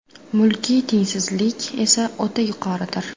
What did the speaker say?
Mulkiy tengsizlik esa o‘ta yuqoridir.